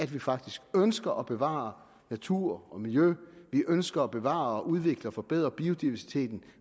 vi faktisk ønsker at bevare natur og miljø vi ønsker at bevare og udvikle og forbedre biodiversiteten